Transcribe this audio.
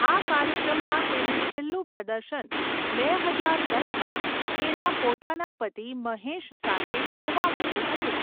આ કાર્યક્રમમાં તેનું છેલ્લું પ્રદર્શન બે હજાર દસમાં તેના પોતાના પતિ મહેશ સાથે જોવા મળ્યું હતું.